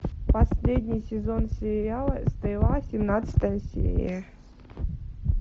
последний сезон сериала стрела семнадцатая серия